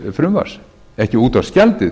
þess frumvarps ekki útvarpsgjaldið